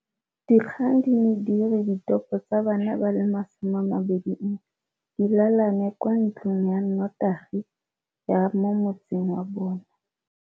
Dikgang di ne di re ditopo tsa bana ba le 21 di lalane kwa ntlong ya notagi ya mo motseng wa bona.